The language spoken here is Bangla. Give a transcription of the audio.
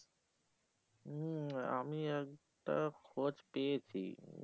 হম আমি একটা খোঁজ পেয়েছি